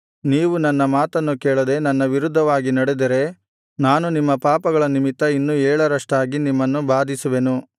ನೀವು ನನ್ನ ಮಾತನ್ನು ಕೇಳದೆ ನನ್ನ ವಿರುದ್ಧವಾಗಿ ನಡೆದರೆ ನಾನು ನಿಮ್ಮ ಪಾಪಗಳ ನಿಮಿತ್ತ ಇನ್ನೂ ಏಳರಷ್ಟಾಗಿ ನಿಮ್ಮನ್ನು ಬಾಧಿಸುವೆನು